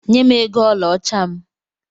Nyem ego ọlaọcha m!